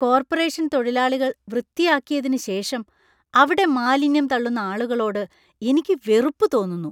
Corporation തൊഴിലാളികൾ വൃത്തിയാക്കിയതിന് ശേഷം അവിടെ മാലിന്യം തള്ളുന്ന ആളുകളോട് എനിക്ക് വെറുപ്പ് തോന്നുന്നു.